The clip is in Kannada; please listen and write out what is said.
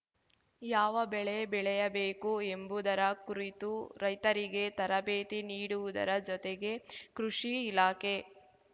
ಯಾವ ಬೆಳೆ ಬೆಳೆಯಬೇಕು ಎಂಬುದರ ಕುರಿತು ರೈತರಿಗೆ ತರಬೇತಿ ನೀಡುವುದರ ಜತೆಗೆ ಕೃಷಿ ಇಲಾಖೆ